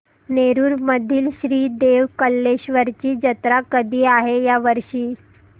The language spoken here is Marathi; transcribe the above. नेरुर मधील श्री देव कलेश्वर ची जत्रा कधी आहे या वर्षी